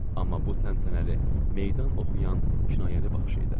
Amma bu təntənəli meydan oxuyan kinayəli baxış idi.